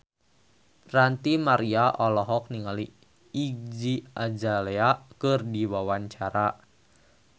Ranty Maria olohok ningali Iggy Azalea keur diwawancara